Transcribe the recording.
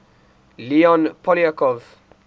leon poliakov